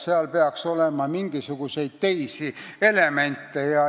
Seal peaks olema mingisuguseid teisi elemente.